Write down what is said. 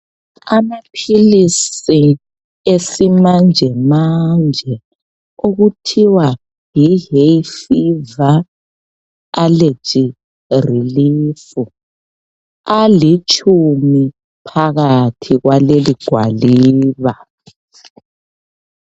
Amaphilisi esimanje manje okuthiwa yi"Hayfever allergy relief "alitshumi phakathi kwaleli gwaliba.